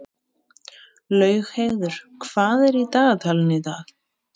Laugheiður, hvað er í dagatalinu í dag?